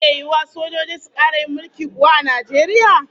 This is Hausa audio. Zai iya yiwuwa sojoji su kara yin mulki kuwa a Najeriya?